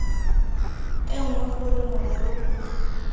e nngwe gore morero o